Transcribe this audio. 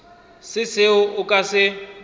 se seo a ka se